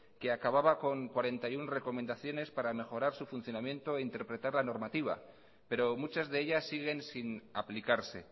que acababa con cuarenta y uno recomendaciones para mejorar su funcionamiento e interpretar la normativa pero muchas de ellas siguen sin aplicarse